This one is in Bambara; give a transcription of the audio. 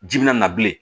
Ji bɛna na bilen